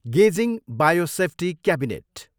गेजिङ, bio safety cabinet.